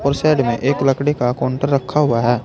और साइड में एक लकड़ी का काउंटर रखा हुआ है।